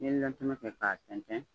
N'i ye kɛ k'a tɛntɛn.